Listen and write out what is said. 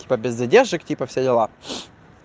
типа без задержек типа все дела